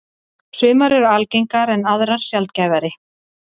Sumar eru algengar en aðrar sjaldgæfari.